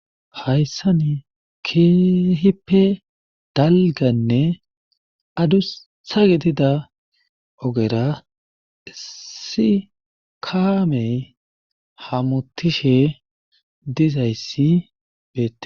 Hayssan keehippe dalgganne adussa gidida ogera issi kaamey hamutishe dizayssi beetees.